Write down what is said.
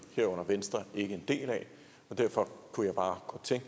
herunder venstre ikke en del af derfor kunne jeg bare godt tænke